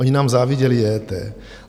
Oni nám záviděli EET.